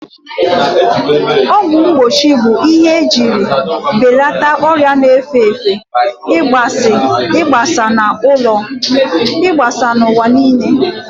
Ọgwụ mgbochi bụ ihe ejiri belata ọrịa na-efe efe igbasa n'ụwa niile.